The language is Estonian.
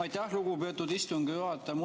Aitäh, lugupeetud istungi juhataja!